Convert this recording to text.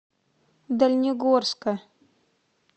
дальнегорска